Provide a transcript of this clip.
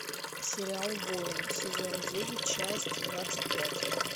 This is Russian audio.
сериал воин сезон девять часть двадцать пять